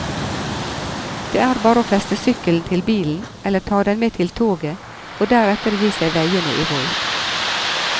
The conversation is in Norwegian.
Det er bare å feste sykkelen til bilen eller ta den med til toget og deretter gi seg veiene i vold.